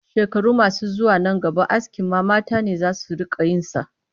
Shekaru masu zuwa nan gaba askin ma mata ne za su riƙa yin sa